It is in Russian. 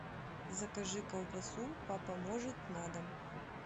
закажи колбасу папа может на дом